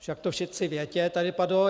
Však to všetci viete, tady padlo.